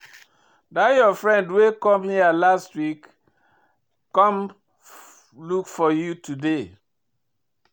Dat your friend wey come here last week come look for you today